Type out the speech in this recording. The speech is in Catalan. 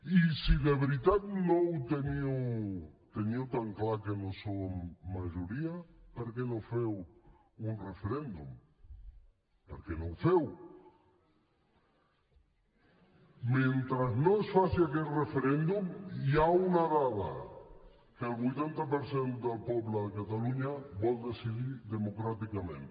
i si de veritat teniu tan clar que no som majoria per què no feu un referèndum per què no el feu mentre no es faci aquest referèndum hi ha una dada que el vuitanta per cent del poble de catalunya vol decidir democràticament